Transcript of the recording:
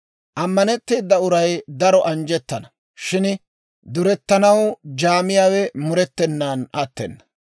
Ammanetteeda uray daro anjjettana; shin durettanaw jaamiyaawe murettenan attena.